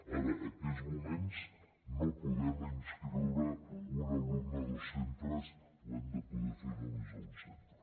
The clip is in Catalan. ara en aquests moments no podem inscriure un alumne a dos centres ho hem de fer només a un centre